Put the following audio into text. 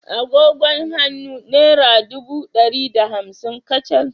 Agogon hannu naira ɗubu ɗari da hamsin kacal